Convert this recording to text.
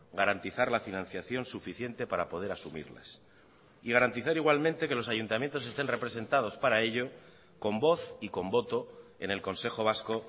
garantizar la financiación suficiente para poder asumirlas y garantizar igualmente que los ayuntamientos estén representados para ello con voz y con voto en el consejo vasco